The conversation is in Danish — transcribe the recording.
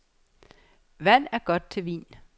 Vand er godt til vin.